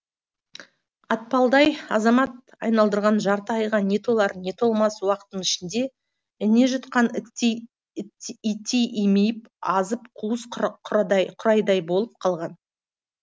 атпалдай азамат айналдырған жарты айға не толар не толмас уақыттың ішінде ине жұтқан иттей имиіп азып қуыс қурайдай болып қалған